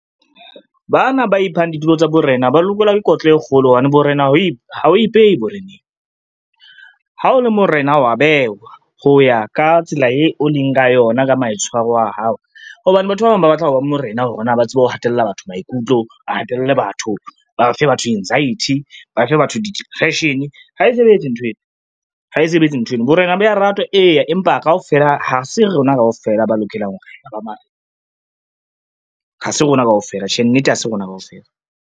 Bana ba iphang ditulo tsa borena ba lokelwa ke kotlo e kgolo hobane borena ha e o ipehe boreneng. Ha o le morena wa bewa ho ya ka tsela eo o leng ka yona ka maitshwaro a hao, hobane batho ba bang ba batla ho ba morena hore na ba tsebe ho hatella batho maikutlo, ba hatelle batho, ba fe batho anxiety, ba fe batho di-depression. Ha e sebetse nthweno, ha e sebetse nthweno, borena bo ya ratwa ee, empa kaofela ha se rona kaofela ba lokelang ho ba marena, ha se rona kaofela, tjhe nnete ha se rona kaofela.